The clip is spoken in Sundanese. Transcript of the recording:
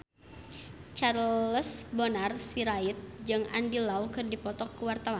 Charles Bonar Sirait jeung Andy Lau keur dipoto ku wartawan